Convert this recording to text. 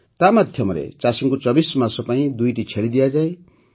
ତା ମାଧ୍ୟମରେ ଚାଷୀଙ୍କୁ ୨୪ ମାସ ପାଇଁ ୨ଟି ଛେଳି ଦିଆଯାଏ